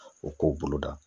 O k'o bolo da